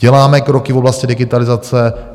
Děláme kroky v oblasti digitalizace.